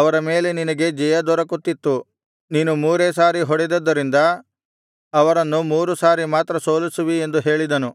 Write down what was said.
ಅವರ ಮೇಲೆ ನಿನಗೆ ಜಯದೊರಕುತ್ತಿತ್ತು ನೀನು ಮೂರೇ ಸಾರಿ ಹೊಡೆದದ್ದರಿಂದ ಅವರನ್ನು ಮೂರು ಸಾರಿ ಮಾತ್ರ ಸೋಲಿಸುವಿ ಎಂದು ಹೇಳಿದನು